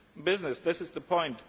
Business this is the point.